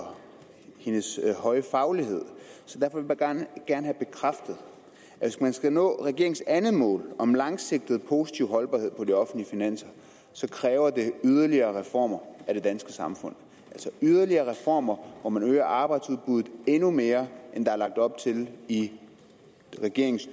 hendes høje faglighed så derfor vil jeg gerne have bekræftet at hvis man skal nå regeringens andet mål om langsigtet positiv holdbarhed på de offentlige finanser kræver det yderligere reformer af det danske samfund altså yderligere reformer hvor man øger arbejdsudbuddet endnu mere end der er lagt op til i regeringens